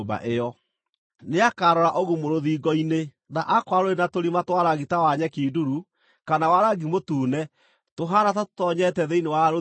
Nĩakarora ũgumu rũthingo-inĩ, na aakorwo rũrĩ na tũrima twa rangi ta wa nyeki nduru kana wa rangi mũtune tũhaana ta tũtoonyete thĩinĩ wa rũthingo-rĩ,